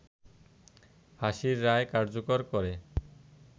ফাঁসির রায় কার্যকর করে